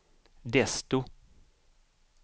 desto